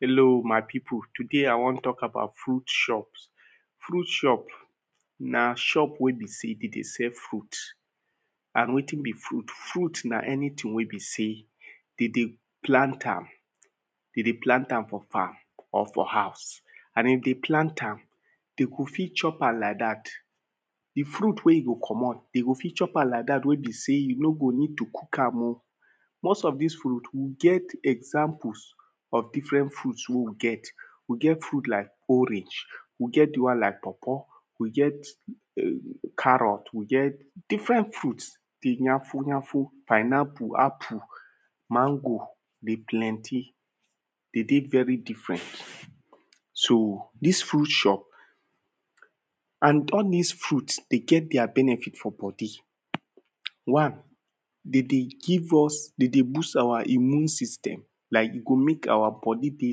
Hello my people, today I wan talk about fruit shops, fruit shop, na shop wey be sey dem dey sell fruit. And wetin be fruit, fruit na anything wey be sey, dem dey plant am, dem dey plant am for farm or for house, dem dey plant am, dem go fit chop am like dat, di fruit wen dem dey komot, dem go fit chop am like dat wey be sey, you no go need cook am oh. most of dis fruit, e get examples of different fruit wey we get. We get fruit like orange, we get di one like pawpaw, we get carrot, we get different fruits. dey nyafu nyafu, pineapple, apple, mango dey plenty, dem dey very different. So dis furit shop, and all dis fruits, dem get their benefit for body. One: dem dey give us, dem dey boost our immune system. Like e go make our body dey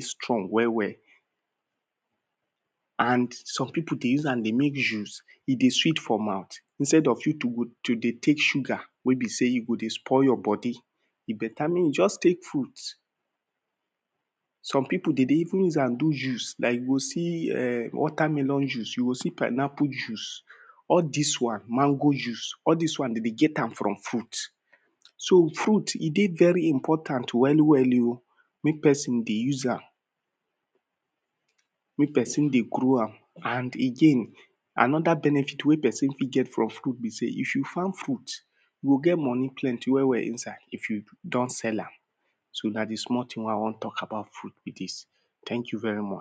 strong well well. And some peoplde dey take am take make juice, dey sweet for mouth, instead of you to go to dey take sugar wey be sey, e go dey spoil your body, e better make you just take fruits. Some people dem dey even use am do juice, like you go [urn] water melon juice, you go see pineapple juice, all dis one mango juice, all dis one dem dey get am from fruit, so fruit e dey very important well well oh, make person dey use am, make person dey grow am, and again another benefit wey person fit get from fruit be sey, if you farm fruit you go get money plenty well well for inside if you don sell am, so na di small thing wey I wan talk about fruit bi dis, thank you very much.